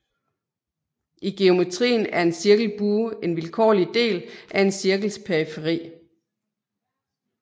I geometrien er en cirkelbue en vilkårlig del af en cirkels periferi